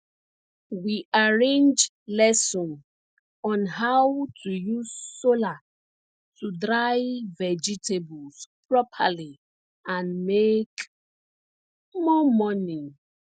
we arrange lesson on how to use solar to dry vegetables properly and make more money